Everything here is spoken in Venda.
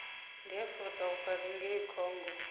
ndi afrika vhukati ngei congo